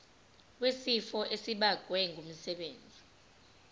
wesifo esibagwe ngumsebenzi